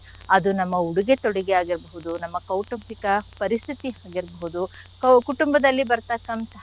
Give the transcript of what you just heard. ಅದು ನಮ್ಮ ಉಡುಗೆ ತೊಡುಗೆ ಆಗಿರ್ಬೋದು ನಮ್ಮ ಕೌಟುಂಬಿಕ ಪರಿಸ್ಥಿತಿ ಆಗಿರ್ಬೋದು ಕೌ~ ಕುಟುಂಬದಲ್ಲಿ ಬರ್ತಕ್ಕಂಥಹ.